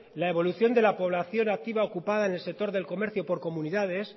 la evolución de la población activa ocupada en el sector del comercio por comunidades